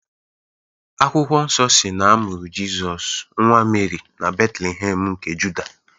Akwụkwọ nsọ si na-amụrụ Jịsọs, nwa Meri na Betlehem nke Juda.